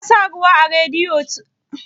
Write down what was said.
Ka sa ruwa a Radiyeto?